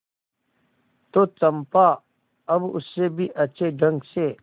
तो चंपा अब उससे भी अच्छे ढंग से